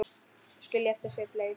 Skilja eftir sig bleytu.